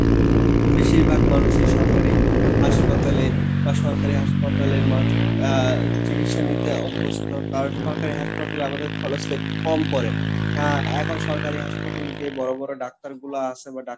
বেশীরভাগ মানুষই সরকারী হাসপাতালে বা সরকারি হাসপাতাল আহ চিকিৎসা নিতে অভ্যস্ত আর সরকারি হাসপাতালে আমাদের খরচ টা একটু কম পরে আহ এখন সরকারি হাসপাতালে যে বড় বড় ডাক্তার গুলা আসে বা